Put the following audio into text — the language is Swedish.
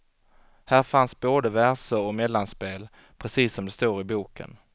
Här fanns både verser och mellanspel, precis som det står i boken.